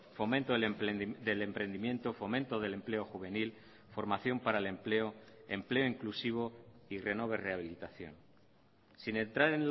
fomento del emprendimiento fomento del empleo juvenil formación para el empleo empleo inclusivo y renove rehabilitación sin entrar